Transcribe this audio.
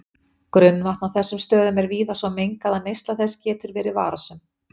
Grunnvatn á þessum stöðum er víða svo mengað að neysla þess getur verið varasöm.